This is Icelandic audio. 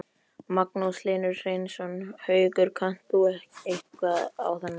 Magnús Hlynur Hreiðarsson: Haukur, kannt þú eitthvað á þennan bíl?